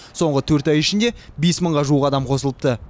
соңғы төрт ай ішінде бес мыңға жуық адам қосылыпты